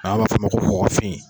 An b'a fɔ o ma ko kɔkɔfin